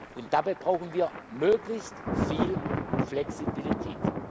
Und dabei brauchen wir möglichst viel Flexibilität.